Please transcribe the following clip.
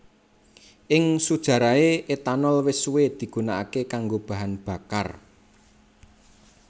Ing sujarahé etanol wis suwé digunakaké kanggo bahan bakar